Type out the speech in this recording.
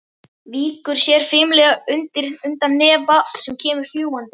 Víkur sér fimlega undan hnefa sem kemur fljúgandi.